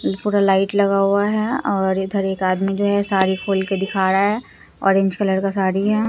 पूरा लाइट लगा हुआ है और इधर एक आदमी जो है साड़ी खोल के दिखा रहा है ऑरेंज कलर का साड़ी है।